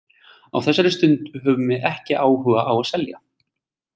Á þessari stundu höfum við ekki áhuga á að selja.